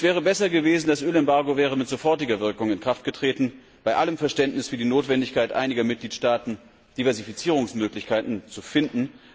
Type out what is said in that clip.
Es wäre besser gewesen, das Ölembargo wäre mit sofortiger Wirkung in Kraft getreten bei allem Verständnis für die Notwendigkeit einiger Mitgliedstaaten, Diversifizierungsmöglichkeiten zu finden.